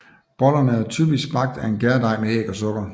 Bollerne er typisk bagt af en gærdej med æg og sukker